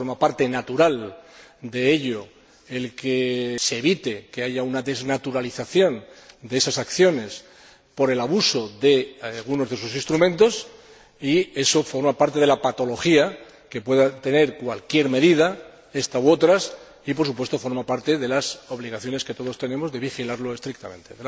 Forma parte natural de ello el que se evite que haya una desnaturalización de esas acciones por el abuso de algunos de sus instrumentos y eso forma parte de la patología que pueda tener cualquier medida, ésta u otras, y, por supuesto, forma parte de las obligaciones que todos tenemos de vigilarlo estrictamente.